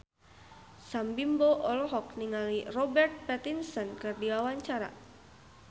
Sam Bimbo olohok ningali Robert Pattinson keur diwawancara